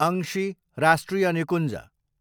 अंशी राष्ट्रिय निकुञ्ज